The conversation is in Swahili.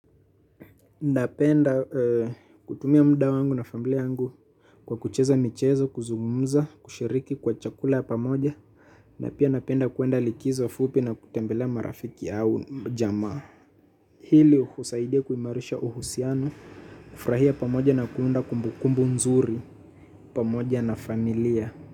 Napenda ee kutumia mda wangu na familia yangu kwa kucheza michezo, kuzumumza, kushiriki kwa chakula ya pamoja napia napenda kuenda likizo fupi na kutembelea marafiki au jamaa. Hili husaidia kuimarisha uhusiano, kufrahia pamoja na kuunda kumbukumbu nzuri pamoja na familia.